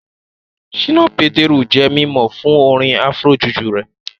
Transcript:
Ṣínà Pétérù jẹ́ mímọ̀ fún orin Afro-juju rẹ̀